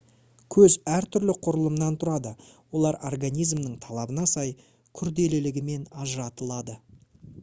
көз әртүрлі құрылымнан тұрады олар организмнің талабына сай күрделілігімен ажыратылады